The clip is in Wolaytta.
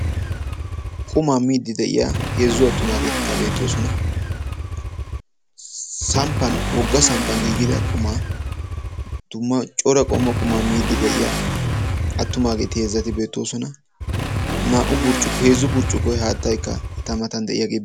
Qumaa miidde de'iya heezzu attumagetti beettosonna. Samppan heezzu burccukkuwa haattara moosonna.